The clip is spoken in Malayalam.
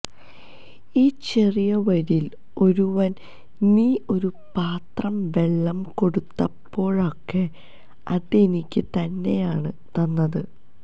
ഈ ചെറിയവരില് ഒരുവന് നീ ഒരു പാത്രം വെള്ളം കൊടുത്തപ്പോഴൊക്കെ അതെനിക്ക് തന്നെയാണ് തന്നത്